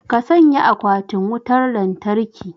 ka sanya akwatin wutar lantarki